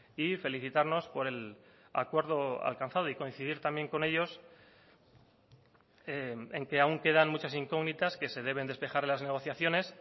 y felicitarnos por el acuerdo alcanzado y coincidir también con ellos en que aún quedan muchas incógnitas que se deben despejar las negociaciones